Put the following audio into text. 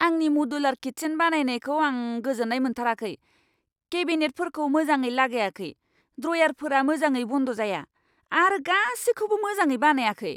आंनि modular kitchen बानायनायखौ आं गोजोन्नाय मोनथाराखै। केबिनेटफोरखौ मोजाङै लागायाखै, ड्रयारफोरा मोजाङै बन्द जाया, आरो गासैखौबो मोजाङै बानायाखै।